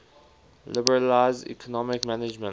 liberalize economic management